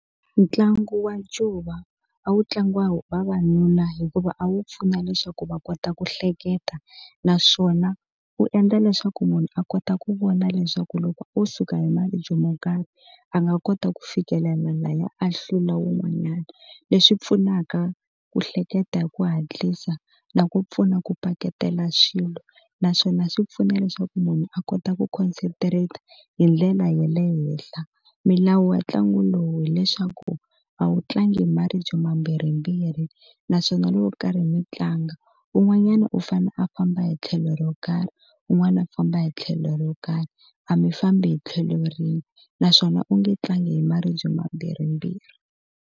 Ntlangu wa ncuva a wu tlangiwa vavanuna hikuva a wu pfuna leswaku va kota ku hleketa naswona wu endla leswaku munhu a kota ku vona leswaku loko wo suka hi mali byo mo karhi a nga kota ku fikelela laya ahlula wun'wanyana leswi pfunaka ku hleketa hi ku hatlisa na ku pfuna ku paketeriwa swilo naswona swi pfuna leswaku munhu a kota ku khonsetreta hi ndlela ya le henhla milawu ya ntlangu lowu hileswaku a wu tlangi maribye vambirhimbirhi naswona loko karhi mi tlanga un'wanyana u fanele a famba hi tlhelo ro karhi un'wana a famba hi tlhelo ro karhi a mi fambi hi tlhelo rin'we naswona u nge tlangi hi maribye mambirhi mbirhi.